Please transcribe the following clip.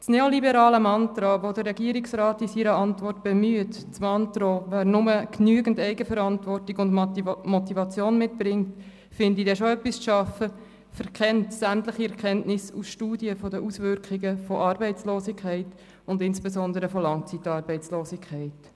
Das neoliberale Mantra, das der Regierungsrat in seiner Antwort bemüht, das Mantra «Wer nur genügend Eigenverantwortung und Motivation mit sich bringt, findet dann schon etwas zum Arbeiten», verkennt sämtliche Erkenntnisse aus Studien über die Auswirkungen von Arbeitslosigkeit und insbesondere von Langzeitarbeitslosigkeit.